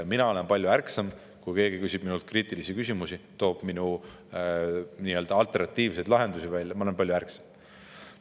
Mina olen palju ärksam, selles mõttes, et kui keegi küsib minult kriitilisi küsimusi ja toob alternatiivseid lahendusi välja, siis ma olen palju ärksam.